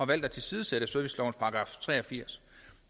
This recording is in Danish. valgt at tilsidesætte servicelovens § tre og firs